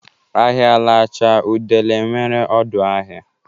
Ahịa lachaa udele enwere ọdụ ahịa.